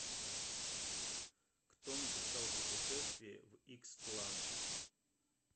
кто написал путешествие в икстлан